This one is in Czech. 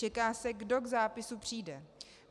Čeká se, kdo k zápisu přijde.